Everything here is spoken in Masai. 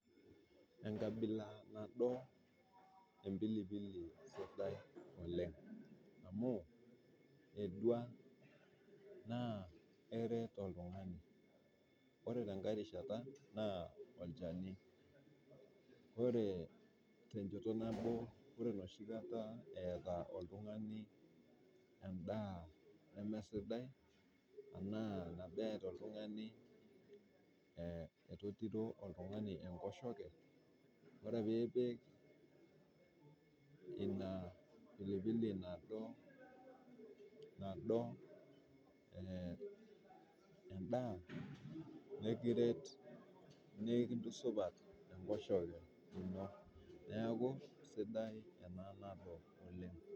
Enkabila nadua empilipili sidai oleng amuu edua naa eret oltungani. Ore te ng'ae rishata naa olchani, ore te nchoto nabo ore noshi kata eeta oltungani endaa nemesiadi tanaa abaki eata oltungani erotito olttungani enkoshoke, ore piipik ina mpilipili nadua endaa nikiret, nikintusupat enkoshoke ino, naaku esidai ana nadua oleng.